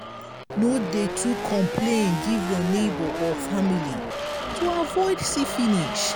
no dey too complain give your neigbour or family to avoid see finish